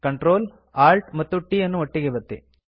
control Alt ಮತ್ತು t ಅನ್ನು ಒಟ್ಟಿಗೆ ಒತ್ತಿ